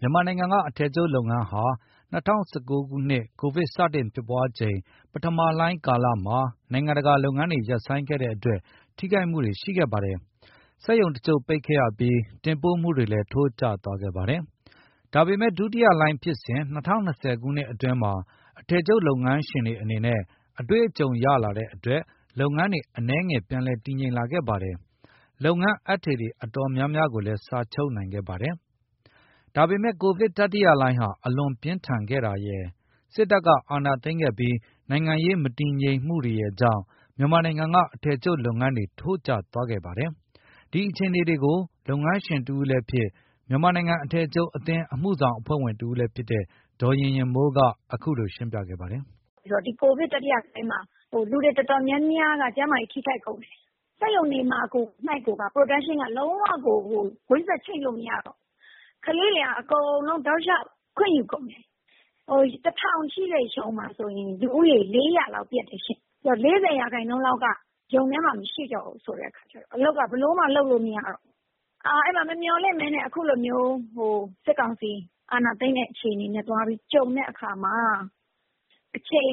မြန်မာနိုင်ငံက အထည်ချုပ်လုပ်ငန်းဟာ ၂၀၁၉ ခုနှစ် ကိုဗစ်စတင်ဖြစ်ပွားချိန် ပထမလှိုင်း ကာလမှာ နိုင်ငံတကာက လုပ်ငန်းတွေ ရပ်ဆိုင်းခဲ့တဲ့အတွက် ထိခိုက်မှုတွေ ရှိခဲ့ပါတယ်။ စက်ရုံတချို့ ရပ်ဆိုင်းခဲ့ရပြီး တင်ပို့မှုတွေလည်း ထိုးကျသွားခဲ့ပါတယ်။ ဒါပေမယ့် ဒုတိယလှိုင်းဖြစ်စဉ် ၂၀၂၀ ခုနှစ်အတွင်းမှာ အထည်ချုပ်လုပ်ငန်းရှင်တွေ အနေနဲ့ အတွေ့အကြုံ ရလာတဲ့အတွက် လုပ်ငန်းတွေ အနည်းငယ် ပြန်လည်တည်ငြိမ်လာခဲ့ပါတယ်။ လုပ်ငန်းအပ်ထည်တွေ အတော်များများ စာချုပ်နိုင်ခဲ့ပါတယ်။ ဒါပေမယ့် ကိုဗစ်တတိယလှိုင်းဟာ အလွန်ပြင်းထန်ခဲ့တာရယ် စစ်တပ်က အာဏာသိမ်းခဲ့ပြီး နိုင်ငံရေး မတည်ငြိမ်မှုတွေရယ်ကြောင့် မြန်မာနိုင်ငံက အထည်ချုပ်လုပ်ငန်းတွေ ထိုးကျသွားခဲ့ပါတယ်။ အထည်ချုပ်ငန်းရှင်တဦးလည်းဖြစ် မြန်မာနိုင်ငံ အထည်ချုပ်အသင်း အမှုဆောင်အဖွဲ့ဝင်တဦးလည်း ဖြစ်တဲ့ ဒေါ်ရင်ရင်မိုးက အခုလို ရှင်းပြပါတယ်။ “ဒီ ကိုဗစ်တတိယလှိုင်းမှာ လူတွေအတော်များများက ကျန်းမာရေး ထိခိုက်ကုန်တယ်။ စက်ရုံတွေမှာကို Production က လုံးဝ ကွင်းဆက်ချိတ်လို့ မရတော့ဘူး။ ကလေးတွေက အကုန်လုံး တောက်လျှောက် ခွင့်ယူကုန်တယ်။ ၁,၀၀၀ ရှိတဲ့ ရုံမှာဆိုရင် လူဦးရေ ၄၀၀ လောက် ပျက်တယ်ရှင့်။ ဆိုတော့ ၄၀ ရာနှုန်းလောက်က ရုံထဲမှာမရှိတော့ဘူး ဆိုတဲ့အခါကျတော့ အလုပ်က ဘယ်လိုမှ လုပ်လို့မရတော့ဘူး။ အဲဒီမှာ မမျှော်လင့်ဘဲနဲ့ အခုလိုမျိုး စစ်ကောင်စီ အာဏာသိမ်းတဲ့ အခြေအနေနဲ့ သွားပြီးကြုံတဲ့အခါမှာ အချိန်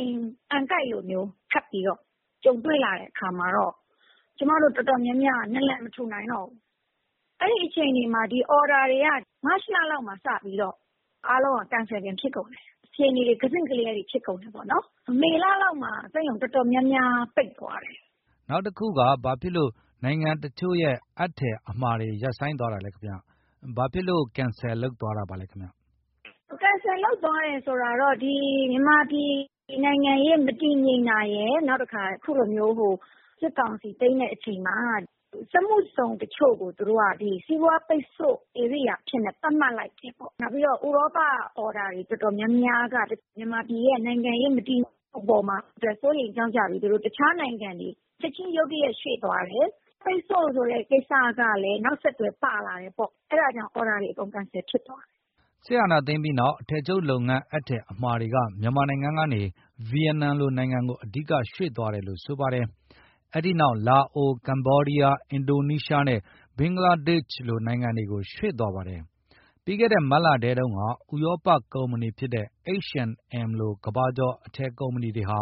က အံကိုက်လိုမျိုး ထပ်ပြီးတော့ ကြုံတွေ့ရတဲ့ အခါမှာတော့ ကျမတို့ အတော်များများ နာလန်မထူနိုင်တော့ဘူး။ အဲဒီအခြေအနေမှာ အော်ဒါတွေက မတ်လလောက်ကတည်းက စပြီးတော့ အားလုံးက Cancel တွေ ဖြစ်ကုန်တယ်။ အခြေအနေတွေ ကစဉ့်ကလျားတွေ ဖြစ်ကုန်တယ်ပေါ့နော်။ မေလလောက်မှာ စက်ရုံအတော်များများ ပိတ်သွားတယ်။” ကိုဇော်မိုးကျော် - နောက်တခုက ဘာဖြစ်လို့ နိုင်ငံတချို့ရဲ့ အပ်ထည်အမှာတွေ ရပ်ဆိုင်းသွားတာလဲခင်ဗျ။ ဘာဖြစ်လို့ Cancel လုပ်သွားတာလဲခင်ဗျ။ ဒေါ်ရင်ရင်မိုး - “Cancel သွားတယ်ဆိုတာက ဒီ မြန်မာပြည်နိုင်ငံရေး မတည်ငြိမ်တာရယ်၊ နောက်တခါ အခုလိုမျိုး စစ်ကောင်စီ သိမ်းတဲ့အချိန်မှာ စက်မှုဇုန်တချို့ကို သူတို့က ဒီ စီးပွားပိတ်ဆို့ ဧရိယာအဖြစ် သတ်မှတ်လိုက်တယ်ပေါ့။ နောက်ပြီးတော့ ဥရောပအော်ဒါ အတော်များများက မြန်မာနိုင်ငံရဲ့ နိုင်ငံရေး မတည်ငြိမ်မှုအပေါ်မှာ စိုးရိမ်ကြောင့်ကြပြီး သူတို့ တခြားနိုင်ငံတွေကို ချက်ချင်း ရုတ်တရက် ရွှေ့သွားတယ်။ ပိတ်ဆို့ဆိုတဲ့ ကိစ္စကလည်း နောက်ဆက်တွဲ ပါလာတယ်ပေါ့။ အဲဒါကြောင့် အော်ဒါတွေ အကုန် Cancel ဖြစ်သွားတယ်။” စစ်အာဏာသိမ်းပြီးနောက် အထည်ချုပ်လုပ်ငန်း အပ်ထည်အမှာတွေက မြန်မာနိုင်ငံကနေ ဗီယက်နမ်လိုနိုင်ငံကို အဓိကရွှေ့သွားတယ်လို့ ဆိုပါတယ်။ အဲဒီနောက် လာအို၊ ကမ္ဘောဒီးယား၊ အင်ဒိုနီးရှားနဲ့ ဘင်္ဂလားဒေ့ရှ်လို နိုင်ငံတွေကို ရွှေ့သွားပါတယ်။ ပြီးခဲ့တဲ့ မတ်လထဲတုန်းကလည်း ဥရောပကုမ္ပဏီဖြစ်တဲ့ H and M လို ကမ္ဘာကျော် အထည်ကုမ္ပဏီတွေဟာ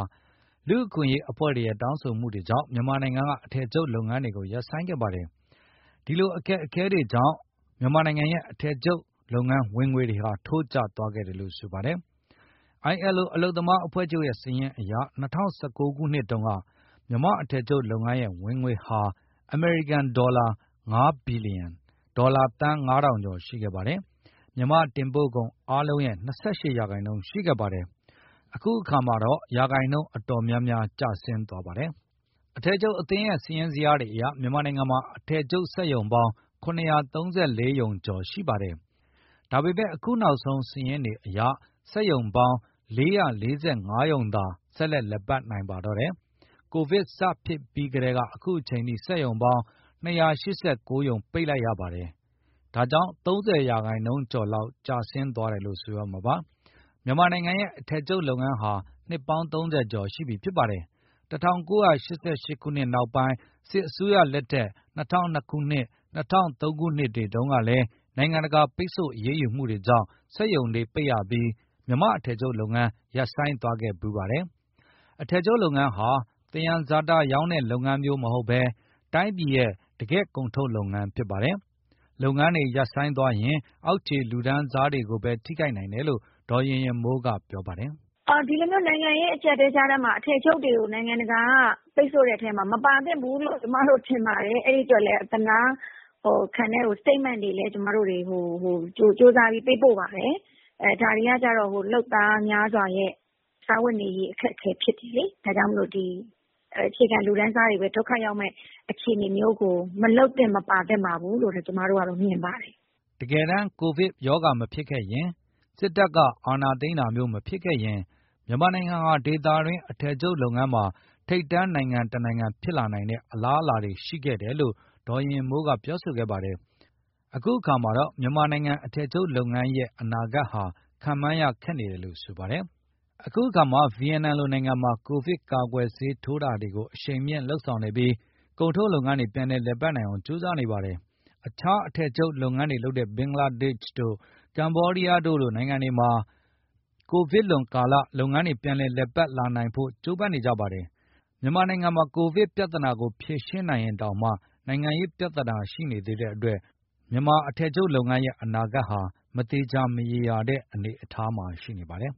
လူ့အခွင့်အရေးအဖွဲ့တွေရဲ့ တောင်းဆိုမှုတွေကြောင့် မြန်မာနိုင်ငံက အထည်ချုပ်လုပ်ငန်းတွေကို ရပ်ဆိုင်းခဲ့ပါတယ်။ ဒီလို အခက်အခဲတွေကြောင့် အထည်ချုပ်လုပ်ငန်းရဲ့ ဝင်ငွေတွေ ထိုးကျသွားခဲ့တယ်လို့ ဆိုပါတယ်။ ILO အလုပ်သမားအဖွဲ့ချုပ်ရဲ့ စာရင်းအရ ၂၀၁၉ ခုနှစ်တုန်းက မြန်မာ့အထည်ချုပ်လုပ်ငန်းရဲ့ ဝင်ငွေဟာ အမေရိကန်ဒေါ်လာ ၅ ဘီလီယံ၊ ဒေါ်လာသန်း ၅,၀၀၀ ကျော် ရှိခဲ့ပါတယ်။ မြန်မာ့တင်ပို့ကုန်အားလုံးရဲ့ ၂၈ ရာခိုင်နှုန်း ရှိခဲ့ပါတယ်။ အခုအခါမှာတော့ ရာခိုင်နှုန်း အတော်များများ ကျဆင်းသွားပါတယ်။ အထည်ချုပ်အသင်းရဲ့ စာရင်းဇယားတွေအရ မြန်မာနိုင်ငံမှာ အထည်ချုပ်စက်ရုံပေါင်း ၇၃၄ ရုံကျော် ရှိခဲ့ပါတယ်။ ဒါပေမယ့် အခုနောက်ဆုံး စာရင်းတွေအရက စက်ရုံပေါင်း ၄၄၅ ရုံသာ ဆက်လက်လည်ပတ်နိုင်ပါတော့တယ်။ ကိုဗစ်စဖြစ်ပြီးကတည်းက အခုအချိန်အထိ စက်ရုံပေါင်း ၂၈၉ ရုံ ပိတ်လိုက်ရပါတယ်။ ၃၀ ရာခိုင်နှုန်းကျော်လောက် ကျဆင်းသွားတယ်လို့ ဆိုရမှာပါ။ မြန်မာနိုင်ငံရဲ့ အထည်ချုပ်လုပ်ငန်းဟာ နှစ်ပေါင်း ၃၀ ကျော်ရှိပါပြီ။ ၁၉၈၈ ခုနှစ်နောက်ပိုင်း စစ်တပ်အစိုးရလက်ထက် ၂၀၀၂၊ ၂၀၀၃ တုန်းကလည်း နိုင်ငံတကာ ပိတ်ဆို့အရေးယူမှုတွေကြောင့် စက်ရုံတွေပိတ်ရပြီး မြန်မာ့အထည်ချုပ်လုပ်ငန်း ရပ်ဆိုင်းသွားခဲ့ဖူးပါတယ်။ အထည်ချုပ်လုပ်ငန်းဟာ သယံဇာတရောင်းတဲ့ လုပ်ငန်းမျိုး မဟုတ်ဘဲ တိုင်းပြည်ရဲ့ တကယ့်ကုန်ထုတ်လုပ်ငန်း ဖြစ်ပါတယ်။ လုပ်ငန်းတွေ ရပ်ဆိုင်းသွားရင် အောက်ခြေလူတန်းစားတွေပဲ ထိခိုက်နိုင်တယ်လို့ ဒေါ်ရင်ရင်မိုးက ပြောပါတယ်။ “ဒီလိုမျိုး နိုင်ငံရေး အကျပ်အတည်းကြားထဲ အထည်ချုပ်တွေကို နိုင်ငံတကာက ပိတ်ဆို့တဲ့အထဲမှာ မပါသင့်ဘူးလို့ ကျမတို့ထင်ပါတယ်။ အဲဒီအတွက်လည်း ကျမတို့ အသနားခံတဲ့ Statement တွေလည်း ဟို ကြိုးစားပြီး ပေးပို့ပါတယ်။ အဲဒါတွေကတော့ လုပ်သားများစွာရဲ့ စားဝတ်နေရေး အခက်အခဲ ဖြစ်တယ်လေ။ ဒါကြောင့်မို့လို့ ဒီ အခြေခံလူတန်းစားတွေပဲ ဒုက္ခရောက်မယ့် အခြေအနေမျိုးကို မလုပ်သင့်၊ မပါသင့်ပါဘူးလို့ပဲ ကျမတို့က မြင်ပါတယ်။” တကယ်တမ်း ကိုဗစ်မဖြစ်ခဲ့ရင်၊ စစ်တပ်အာဏာသိမ်းတာမျိုး မဖြစ်ခဲ့ရင် မြန်မာနိုင်ငံဟာ ဒေသတွင်း အထည်ချုပ်လုပ်ငန်းမှာ ထိပ်တန်းနိုင်ငံတနိုင်ငံ ဖြစ်လာနိုင်တဲ့ အလားအလာတွေ ရှိခဲ့တယ်လို့ ဒေါ်ရင်ရင်မိုးက ဆိုပါတယ်။ အခုခါမှာတော့ မြန်မာနိုင်ငံရဲ့ အထည်ချုပ်လုပ်ငန်း အနာဂတ်ဟာ ခန့်မှန်းရခက်နေတယ်လို့ ဆိုပါတယ်။ အခုအခါ ဗီယက်နမ်လိုနိုင်ငံမှာ ကိုဗစ်ကာကွယ်ဆေးတွေ ထိုးတာတွေကို အရှိန်မြှင့် လုပ်ဆောင်နေပြီး ကုန်ထုတ်လုပ်ငန်းတွေ ပြန်လည် လည်ပတ်နိုင်အောင် ကြိုးပမ်းနေပါတယ်။ အခြား အထည်ချုပ်လုပ်ငန်းတွေလုပ်တဲ့ ဘင်္ဂလားဒေ့ရှ်တို့ ကမ္ဘောဒီးယားတို့လို နိုင်ငံတွေမှာ လုပ်ငန်းတွေ ပြန်လည် လည်ပတ်လာနိုင်ဖို့ ကြိုးပမ်းနေကြပါတယ်။ မြန်မာနိုင်ငံမှာတော့ ကိုဗစ်ပြဿနာကို ဖြေရှင်းနိုင်ရင်တောင်မှ နိုင်ငံရေးပြဿနာ ရှိနေသေးတဲ့အတွက် မြန်မာ့အထည်ချုပ်လုပ်ငန်းရဲ့ အနာဂတ်ဟာ မသေချာ မရေရာတဲ့ အနေအထားမှာ ရှိနေပါတယ်။